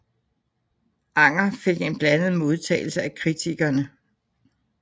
Anger fik en blandet modtagelse af kritikerne